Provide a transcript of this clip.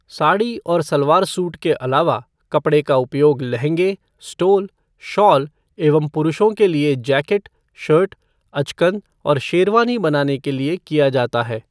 साड़ी और सलवार सूट के अलावा, कपड़े का उपयोग लहंगे, स्टोल, शॉल एवं पुरुषों के लिए जैकेट, शर्ट, अचकन और शेरवानी बनाने के लिए किया जाता है।